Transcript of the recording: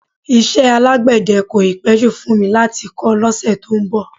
Iṣẹ́ alágbẹ̀dẹ́ kò ì pẹ́ jù fún mi láti kọ́ lọ́sẹ̀ tó ń bọ̀